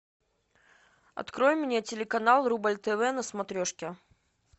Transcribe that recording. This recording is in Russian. открой мне телеканал рубль тв на смотрешке